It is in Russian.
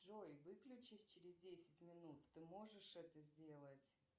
джой выключись через десять минут ты можешь это сделать